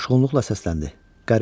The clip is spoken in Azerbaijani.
Coşğunluqla səsləndi: